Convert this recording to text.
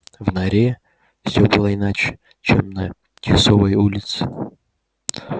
в норе все было иначе чем на тисовой улице